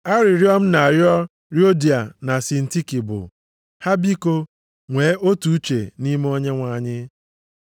Arịrịọ m na-arịọ Yodia na Sintiki bụ, ha biko, nwe otu uche nʼime Onyenwe anyị.